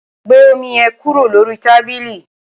gbé omi yẹn kúrò lórí tábílì!